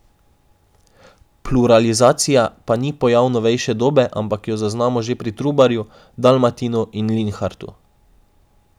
Pluralizacija pa ni pojav novejše dobe, ampak jo zaznamo že pri Trubarju, Dalmatinu in Linhartu.